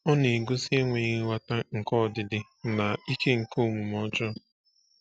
Ọ na-egosi enweghị nghọta nke ọdịdị na ike nke omume ọjọọ.